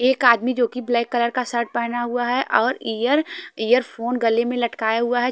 एक आदमी जो कि ब्लैक कलर का शर्ट पहना हुआ है और एयर एयर फोन गले में लटकाया हुआ है।